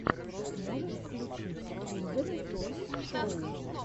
можешь включить киндертойсшоу